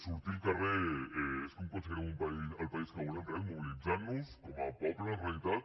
sortint al carrer és com aconseguirem el país que volem realment mobilitzant nos com a poble en realitat